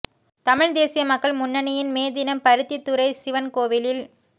தமிழ்த் தேசிய மக்கள் முன்னணியின் மே தினம் பருத்தித்துறை சிவன் கோவிலில்